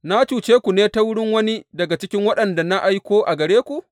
Na cuce ku ne ta wurin wani daga cikin waɗanda na aiko a gare ku?